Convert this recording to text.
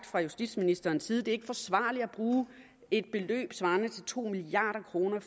fra justitsministerens side det er forsvarligt at bruge et beløb svarende til to milliard kroner